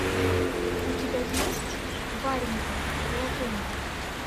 у тебя есть варенька продолжение